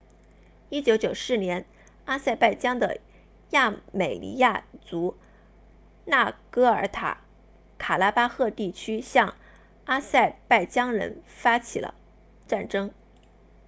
1994年阿塞拜疆的亚美尼亚族纳戈尔诺卡拉巴赫地区向阿塞拜疆人发动了战争